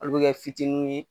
Olu bi kɛ fitiniw ye